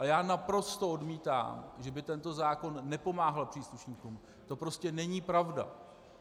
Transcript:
Ale já naprosto odmítám, že by tento zákon nepomáhal příslušníkům, to prostě není pravda!